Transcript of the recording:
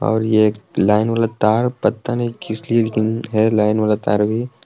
और ये एक लाइन वाला तार पता नहीं किस लिए लेकिन है लाइन वाला तार भी।